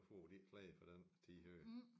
Nu får de en klage for den tid her